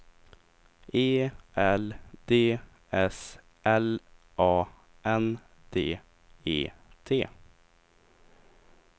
E L D S L A N D E T